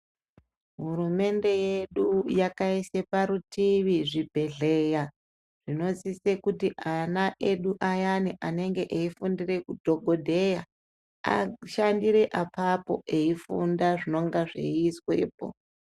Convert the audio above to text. Hurumende yedu yakaise parutivi zvibhedhleya zvinosise kuti ana edu ayani anenge eifundire udhokodheya ashandire apapo eifunda zvinonga zveiizwepo.